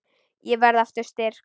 Ég verð aftur styrk.